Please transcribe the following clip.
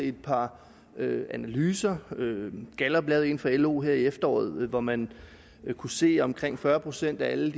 et par analyser gallup lavede en for lo her i efteråret hvor man kunne se at omkring fyrre procent af alle